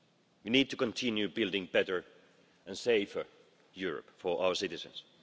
We need to continue building a better and safer Europe for our citizens.